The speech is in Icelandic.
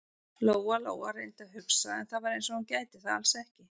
Lóa-Lóa reyndi að hugsa, en það var eins og hún gæti það alls ekki.